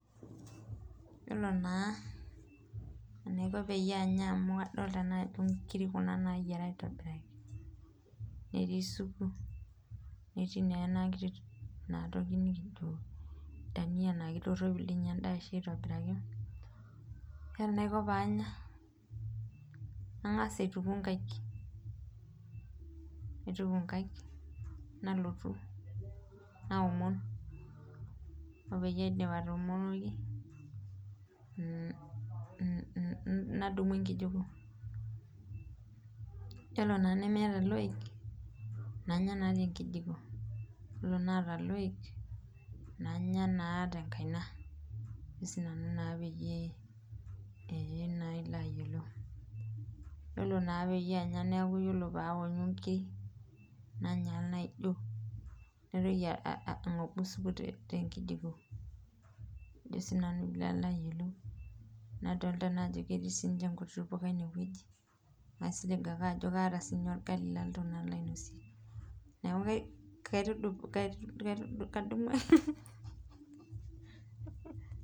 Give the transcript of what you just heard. Yiolo naa enaiko peyie anya amu adolta ajo inkiri kuna nayiera aitobiraki , netii supu , netii naa enakiti dania naa kitoropil endaa aitobiraki , yiolo enaiko panya , nangas aituku nkaik , nalotu naomon , nadumu enkijiko , yiolo tennemeta iloik nanya naa tenkijiko , yiolo naata loik nanya naa tenkaina .